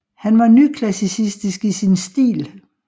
Han var nyklassissistisk i sin stil